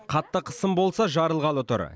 қатты қысым болса жарылғалы тұр